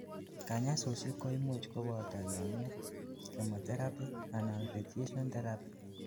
kanyaisosiek koimuch koboto yenyet, chemotherapy anan radiation therapy